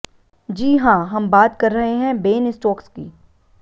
जी हां हम बात कर रहे हैं बेन स्टोक्स की